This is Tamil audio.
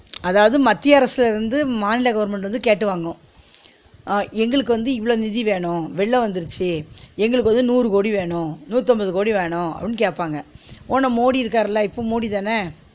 அதாவது மத்திய அரசுல இருந்து மாநில government வந்து கேட்டு வாங்கு அ எங்களுக்கு வந்து இவ்ளோ நிதி வேணு வெள்ளோ வந்திரிச்சு எங்களுக்கு வந்து நூறு கோடி வேணு நூத்தி அம்பது கோடி வேணு அப்பிடின்னு கேப்பாங்க மோடி இருக்கார்ல இப்போ மோடி தான